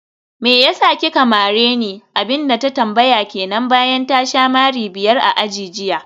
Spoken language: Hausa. meyasa kika mareni?, abinda ta tambaya kenan bayan ta sha mari biyar a aji jiya